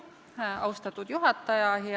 Austatud juhataja!